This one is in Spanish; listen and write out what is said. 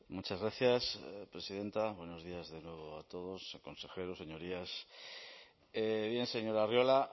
muchas gracias presidenta buenos días de nuevo a todos a consejeros señorías bien señor arriola